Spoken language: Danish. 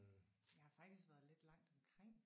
Jeg har faktisk været lidt langt omkring